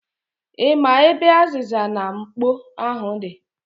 Ị ma ebe azịza na mkpo ahụ di?